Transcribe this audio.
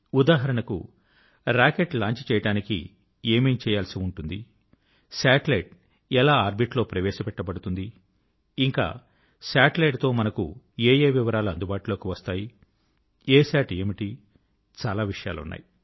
ఉదాహరణకు rocket launch చేయడానికి ఏమేం చేయాల్సి ఉంటుంది శాటిలైట్ ఎలా ఆర్బిట్ లో ప్రవేశ పెట్టబడుతుంది ఇంకా శాటిలైట్ తో మనకు ఏఏ వివరాలు అందుబాటులోకి వస్తాయి అసత్ ఏమిటి చాలా విషయాలున్నాయి